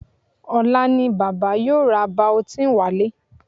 Ọ̀la ni bàbá yóò ra Biotin wálé